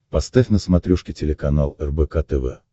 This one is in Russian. поставь на смотрешке телеканал рбк тв